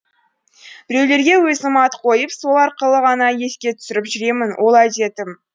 біреулерге өзім ат қойып сол арқылы ғана еске түсіріп жүремін ол әдетім